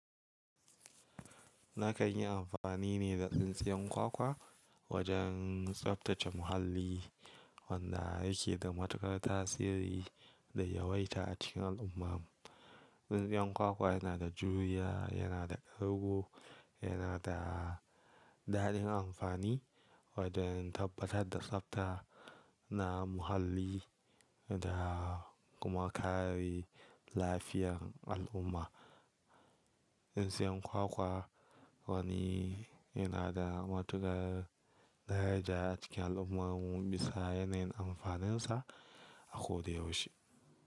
Na kan yi amfani ne da tsintsiyan kwakwa wajen tsaftace muhalli wanda ya ke da matukar tasiri da yawaita a cikin al'umma. Tsintsiyan kwakwa yana da juriya, yana da ƙarƙo, yana da daɗin amfani wajen tabbatar da tsafta na muhalli da kuma kare lafiyar al'umma. Tsintsiyan kwakwa wani yana da matukar daraja a cikin al'ummarmu bisa yanayin amfaninsa a ko da yaushe.